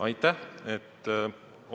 Aitäh!